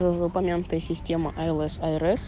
в упомянутой система смс